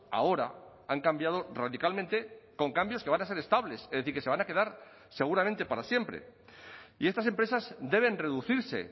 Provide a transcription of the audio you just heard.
ahora han cambiado radicalmente con cambios que van a ser estables es decir que se van a quedar seguramente para siempre y estas empresas deben reducirse